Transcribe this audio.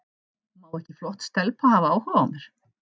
Má ekki flott stelpa hafa áhuga á mér?